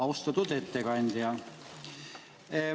Austatud ettekandja!